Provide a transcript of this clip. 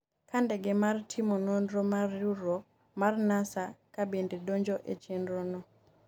ka ndege mar timo nonro mar riwruok mar Nasa ka bende donjo e chenro no